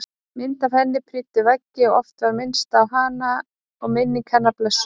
Myndir af henni prýddu veggi og oft var minnst á hana og minning hennar blessuð.